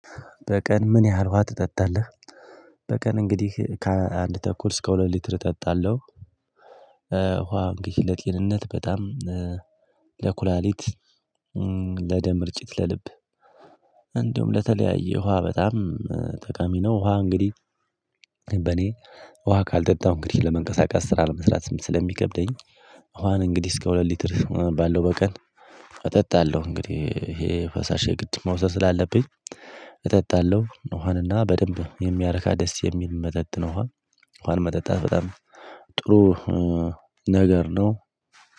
በቀን ምን ያህል ውሃ ትጠጣለህ? በቀን እንግዲህ ከአንድ ተኩል እስከ ሁለት ሊትር እጠጣለሁ። ውሃ እንግዲህ ለጤንነት በጣም ለኩላሊት ለደም ርጭት ለልብ እንዲሁም ለተለያየ ውሃ በጣም ጠቃሚ ነው። ውሃ እንግዲህ በኔ ውሃ ካልጠጣሁ እንግዲህ ለመንቀሳቀስ ስራ ለመስራት ስለሚከብደኝ። ውሃን እንግዲህ እስከ ሁለት ሊትር ባለው በቀን እጠጣለሁ። እንግዲህ ይሄ ፈሳሽ የግድ መውሰድ ስላለብኝ እጠጣለሁ። ውሃንና በደንብ የሚያረካ ደስ የሚል መጠጥ ነው ውሃን መጠጣት በጣም ጥሩ ነገር ነው።